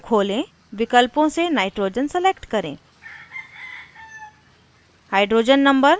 modelkit menu खोलें विकल्पों से nitrogen select करें